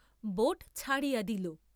Boat ছাড়িয়া দিল।